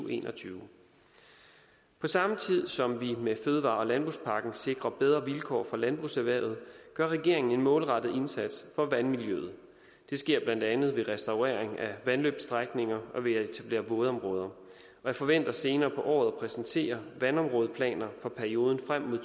og en og tyve på samme tid som vi med fødevare og landbrugspakken sikrer bedre vilkår for landbrugserhvervet gør regeringen en målrettet indsats for vandmiljøet det sker blandt andet ved restaurering af vandløbsstrækninger og ved at etablere vådområder og jeg forventer senere på året at præsentere vandområdeplaner for perioden frem mod